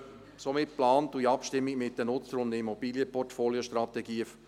Wir gehen wie geplant vor, in Abstimmung mit den Nutzern und den Immobilienportfoliostrategien.